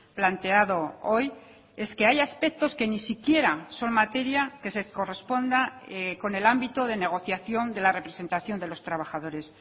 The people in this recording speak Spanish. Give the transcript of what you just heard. planteado hoy es que hay aspectos que ni siquiera son materia que se corresponda con el ámbito de negociación de la representación de los trabajadores